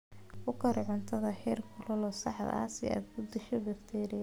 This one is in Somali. Ku kari cuntada heerkulka saxda ah si aad u disho bakteeriyada.